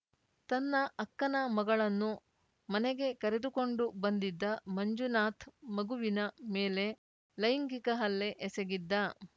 ತನ್ನ ಅಕ್ಕನ ಮಗಳನ್ನು ಮನೆಗೆ ಕರೆದುಕೊಂಡು ಬಂದಿದ್ದ ಮಂಜುನಾಥ್ ಮಗುವಿನ ಮೇಲೆ ಲೈಂಗಿಕ ಹಲ್ಲೆ ಎಸಗಿದ್ದ